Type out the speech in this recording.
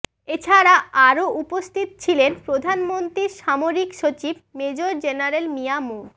এছাড়া আরও উপস্থিত ছিলেন প্রধানমন্ত্রীর সামরিক সচিব মেজর জেনারেল মিয়া মো